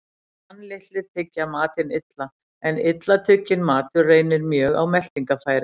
Tannlitlir tyggja matinn illa, en illa tugginn matur reynir mjög á meltingarfæri.